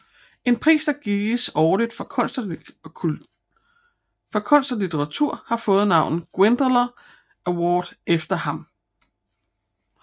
En pris der gives årligt for kunst og litteratur har fået navnet Glyndwr Award efter ham